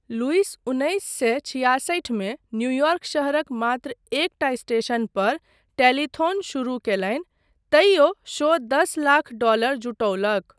Lewis उन्नैस सए छियासठिमे न्यूयॉर्क शहरक मात्र एकटा स्टेशनपर टेलीथॉन शुरू कयलनि तइयो शो दस लाख डॉलर जुटौलक।